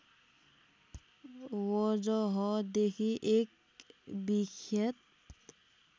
वजहदेखि एक विख्यात